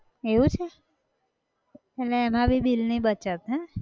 એવું છે, એટલે એમાં બી bill ની બચત હેં! એવું છે?